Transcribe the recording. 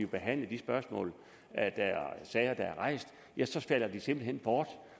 behandlet de sager der er rejst ja så falder de simpelt hen bort